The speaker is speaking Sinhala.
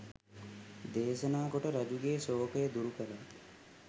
දේශනා කොට රජුගේ ශෝකය දුරු කළා.